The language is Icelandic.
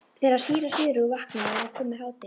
Þegar síra Sigurður vaknaði var komið hádegi.